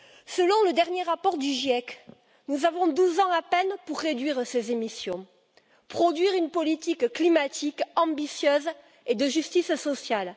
Selon le dernier rapport du GIEC, nous avons douze ans à peine pour réduire ces émissions, et produire une politique climatique ambitieuse et de justice sociale.